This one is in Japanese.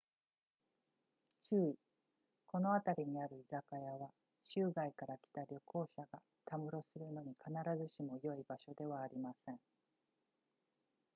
注意この辺りにある居酒屋は州外から来た旅行客がたむろするのに必ずしも良い場所ではありません